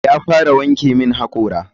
Ya fara wanke min hakora.